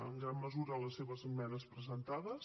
en gran mesura amb les seves esmenes presentades